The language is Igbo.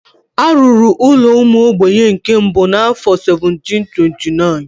A rụrụ ụlọ ụmụ ogbenye nke mbụ n'afọ 1729.